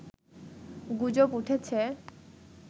গুজব উঠেছে